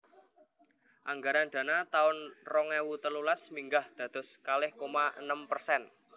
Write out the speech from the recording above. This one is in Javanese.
Anggaran dana taun rong ewu telulas minggah dados kalih koma enem persen